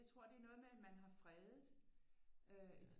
Jeg tror det er noget med at man har freddet